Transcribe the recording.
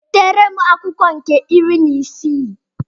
Wetara m akwụkwọ nke iri n'isii.